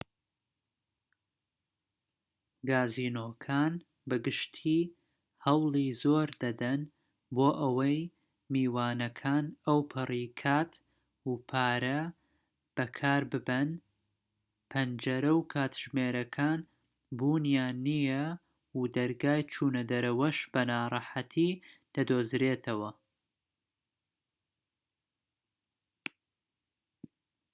گازینۆکان بە گشتی هەوڵی زۆر دەدەن بۆ ئەوەی میوانەکان ئەوپەری کات و پارە بەکارببەن پەنجەرە و کاتژمێرەکان بوونیان نیە و دەرگای چوونەدەرەوەش بە ناڕەحەتی دەدۆزرێتەوە